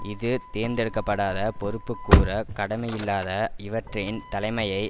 இது தேர்ந்தெடுக்க படாத பொறுப்புக்கூறக் கடமையில்லாத இவற்றின் தலைமையை